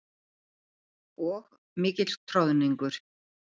Og mikill troðningur.